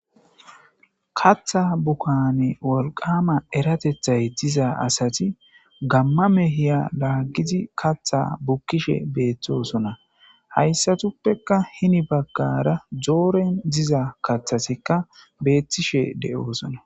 katha bukane wolqama eratethay diza asati gamma mehiya laaggizi katha bukkishe beeththosona hayssatuppekka hini baggara jooren diza kathasikka beettishe deoosona